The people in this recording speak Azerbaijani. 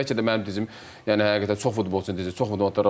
Bəlkə də mənim dizim yəni həqiqətən çox futbolçu dizidir.